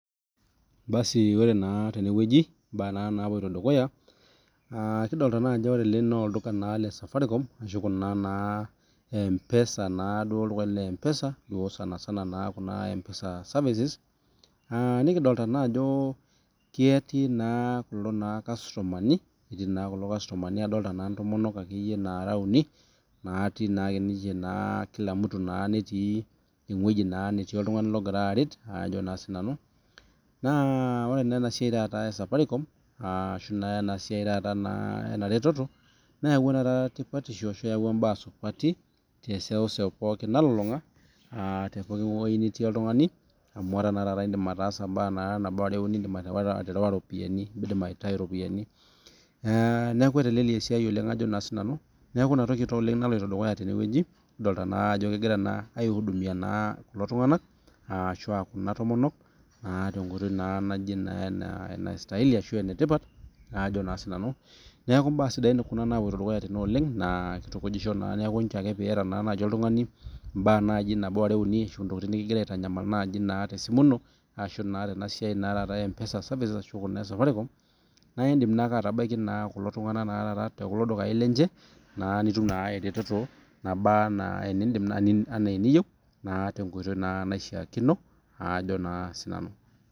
Ore tenewueji mbaa napuoto dukuya naa olduka lee safaricom ashu mpesa naa Kuna[c]mpesa services nikidolita naa ejo ketii naa kulo kastomani adolita ntomonok nara uni kila mtu netii ewueji netii oltung'ani ogira aret naa ore ena siai ee safaricom ashu ena retoto niyewuo mbaa supati te seuseu nalulung'a tewueji nitii oltung'ani amu edim aterewa eropiani nidim aitau ropiani neeku netelelia esiai neeku ena toki naloito dukuya tenewueji kidolita Ajo kegirai aidumia Kuna tomonok naa tenkoitoi etipat neeku mbaa sidai napuoto dukuya tenewueji naa kitukujisho neeku teniata naaji oltung'ani ntokitin nikigira aitanyamal te simu ino ashu naa Tena siai ee mpesa services naidim naa atabaiki kulo tung'ana tekulo dukai lenye nitum naa eretoto nabaa enaa eniyieu tenkoitoi naishakino Ajo naa sinanu